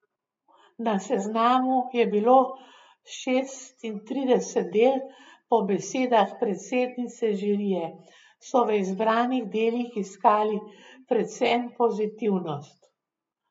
Na seznamu je bilo šestintrideset del, po besedah predsednice žirije so v izbranih delih iskali predvsem pozitivnost.